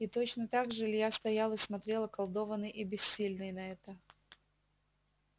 и точно так же илья стоял и смотрел околдованный и бессильный на это